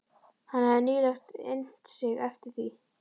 Hann hefði nýlega innt sig eftir því.